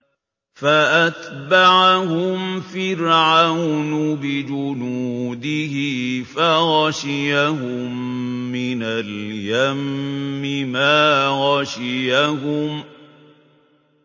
فَأَتْبَعَهُمْ فِرْعَوْنُ بِجُنُودِهِ فَغَشِيَهُم مِّنَ الْيَمِّ مَا غَشِيَهُمْ